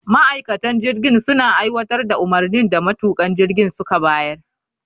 Ma'aikatan jirgin suna aiwatar da umarnin da matukan jirgin suka bayar